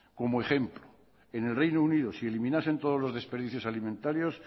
como ejemplo en el reino unido si eliminasen todos los desperdicios alimentarios